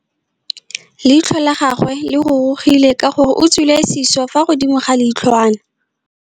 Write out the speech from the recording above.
Leitlhô la gagwe le rurugile ka gore o tswile sisô fa godimo ga leitlhwana.